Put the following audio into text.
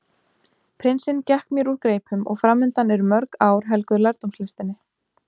Prinsinn gekk mér úr greipum og framundan eru mörg ár helguð lærdómslistinni.